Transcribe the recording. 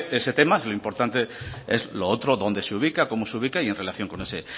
ese tema y lo importante es lo otro dónde se ubica cómo se ubica y en relación con ese